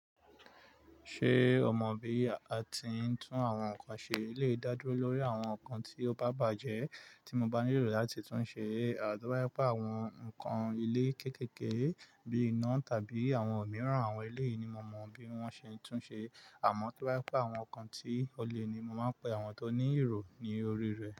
Ṣé o mọ bí a ti ń tún àwọn nǹkan ṣe? Eleyi dá dúró lórí àwọn nǹkan tí ó bá bàjẹ́ tí mo bá nílò láti tún un ṣe. À to ba je pe àwọn nǹkan ilé kéékèèké bíi iná tàbí àwọn mìíràn, àwọn ilé yìí ni mo mọ bí wọ́n ṣe ń tún ṣe. Àmọ́ tó bá pẹ́ àwọn nǹkan tí ó le ni mo máa pẹ́ àwọn tó ní ìró ní orí rẹ̀.